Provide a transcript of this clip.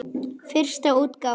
Fyrsta útgáfa.